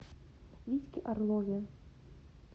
витьке орлове